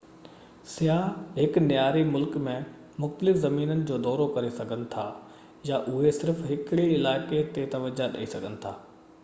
سياح هڪ نياري ملڪ ۾ مختلف زمينن جو دورو ڪري سگهن ٿا يا اهي صرف هڪڙي علائقي تي توجهہ ڏيئي سگهن ٿا